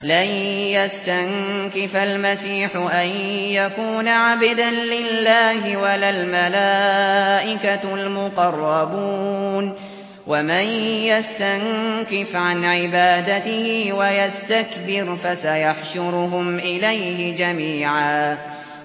لَّن يَسْتَنكِفَ الْمَسِيحُ أَن يَكُونَ عَبْدًا لِّلَّهِ وَلَا الْمَلَائِكَةُ الْمُقَرَّبُونَ ۚ وَمَن يَسْتَنكِفْ عَنْ عِبَادَتِهِ وَيَسْتَكْبِرْ فَسَيَحْشُرُهُمْ إِلَيْهِ جَمِيعًا